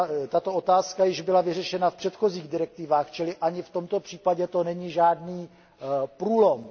Tato otázka již byla vyřešena v předchozích direktivách, čili ani v tomto případě to není žádný průlom.